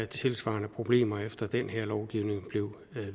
tilsvarende problemer efter at den lovgivning blev